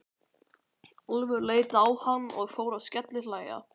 Álfur leit á hann og fór að skellihlæja.